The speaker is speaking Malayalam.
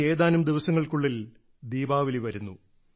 ഇനി ഏതാനും ദിവസങ്ങൾക്കുള്ളിൽ ദീപാവലി വരുന്നു